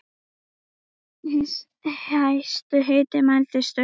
Hæstur hiti mældist um